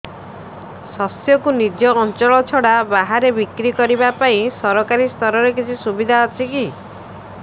ଶସ୍ୟକୁ ନିଜ ଅଞ୍ଚଳ ଛଡା ବାହାରେ ବିକ୍ରି କରିବା ପାଇଁ ସରକାରୀ ସ୍ତରରେ କିଛି ସୁବିଧା ଅଛି କି